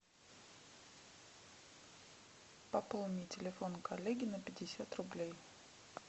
пополни телефон коллеги на пятьдесят рублей